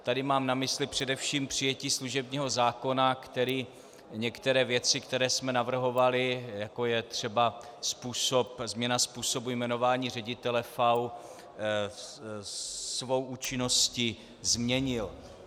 Tady mám na mysli především přijetí služebního zákona, který některé věci, které jsme navrhovali, jako je třeba změna způsobu jmenování ředitele FAÚ, svou účinností změnil.